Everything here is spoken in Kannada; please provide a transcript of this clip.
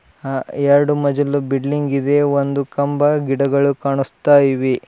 ಅ-ಎರಡು ಮಜಲು ಬಿಲ್ಡಿಂಗ್ ಇದೆ ಒಂದು ಕಂಬ ಗಿಡಗಳು ಕಾಣಿಸ್ತಾ ಇವೆ.